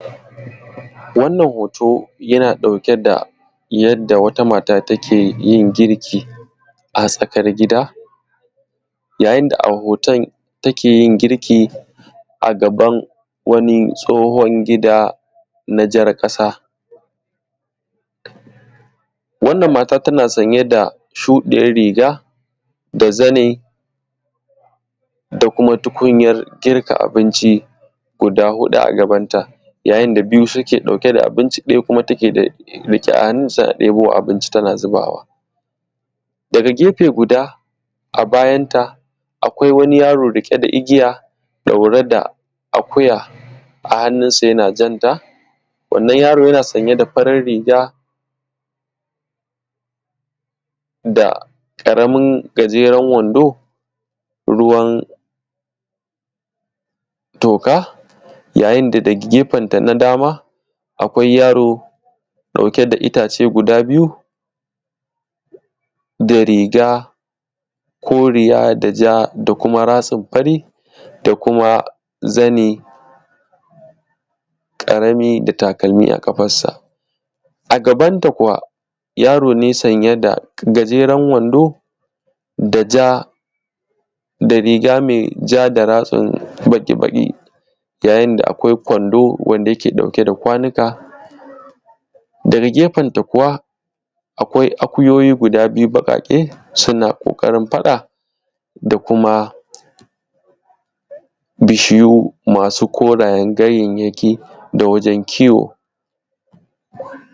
Wannan hoto yana ɗauke da yadda wata mata takeyin girki a tsakar gida yayin a hoton take yin girki a gaban wani tsohon gida na jar ƙasa. Wannan mata tana sanye da shuɗiyar riga da zani da kuma tukunya girka abinci guda huɗu a gabanta, yayin da biyu take dauke da abinci ɗaya kuma take riƙe a hannunsa ɗaya kuma abinci tana zuba daga gefe guda. A bayanta akwai wani yaro dake ɗauke da igiya ɗaure da akuya, a annunsa yana janta wannan yaron yana sanye da ƙaramar riga da kuma ƙaraman gajeren wando ruwan toka yayin daga gefenta na baya akwai yaro ɗauke da riga koriya, ja da kuma ratsin fari da kuma zani ƙarami da kuma takalmi a ƙafansa. A gabanta kuma yaro ne sanye da gajeren wando da ja da riga me ja da ratsin baƙi-baƙi yayin da akwai kwando wanda yake ɗauke da kwanika, daga gefenta kuwa akwai akuyoyi guda biyu baƙaƙe suna ƙoƙarin faɗa da kuma bishiyu masu korayen ganyanyaki da wajen kiwo.